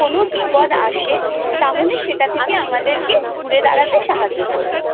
কোন বিপদ আসে তাহলে সেটা থেকে আমাদেরকে ঘুরে দাঁড়াতে সাহায্য করবে।